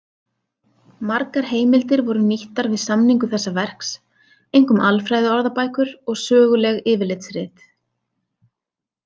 Margar heimildir voru nýttar við samningu þessa verks, einkum alfræðiorðabækur og söguleg yfirlitsrit.